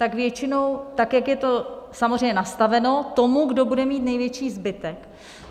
Tak většinou, tak jak je to samozřejmě nastaveno, tomu, kdo bude mít největší zbytek.